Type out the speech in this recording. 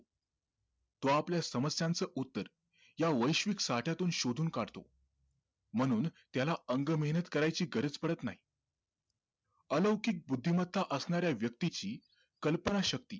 तो आपल्या समस्यांचं उत्तर या वैश्विक साठ्यातून शोधून काढतो म्हणून त्याला अंगमेहनत करायची गरज पडत नाही अलौकिक बुद्धिमत्ता असणाऱ्या व्यक्तीची कल्पनाशक्ती